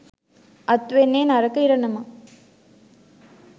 අත් වෙන්නේ නරක ඉරණමක්.